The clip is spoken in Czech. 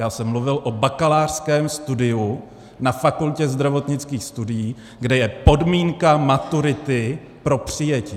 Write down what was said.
Já jsem mluvil o bakalářském studiu na Fakultě zdravotnických studií, kde je podmínka maturity pro přijetí.